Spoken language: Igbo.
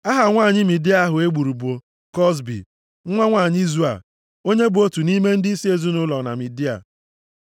Aha nwanyị Midia ahụ e gburu bụ Kozbi, nwa nwanyị Zua, onye bụ otu nʼime ndịisi ezinaụlọ na Midia.